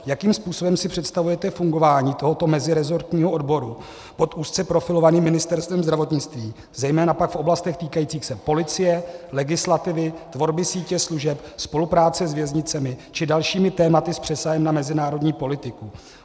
Jakým způsobem si představujete fungování tohoto mezirezortního odboru pod úzce profilovaným Ministerstvem zdravotnictví, zejména pak v oblastech týkajících se policie, legislativy, tvorby sítě služeb, spolupráce s věznicemi či dalšími tématy s přesahem na mezinárodní politiku.